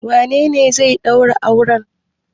Wanene zai ɗaura auren?